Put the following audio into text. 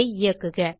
இதை இயக்குக